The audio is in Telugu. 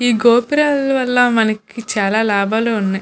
ఈ గోపురాల వల్ల మనకి చాలా లాభాలు ఉన్నాయ్.